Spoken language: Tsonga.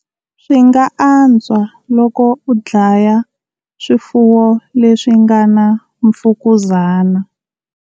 Swi nga antswa loko u dlaya swifuwo leswi nga na mfukuzana.